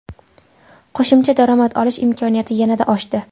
Qo‘shimcha daromad olish imkoniyati yanada oshdi.